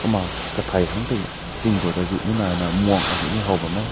ma katai tang tai jingbout aazune nai na münk aazune ne hao bam meh.